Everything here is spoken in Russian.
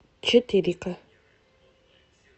четыре ка